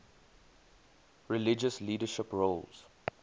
religious leadership roles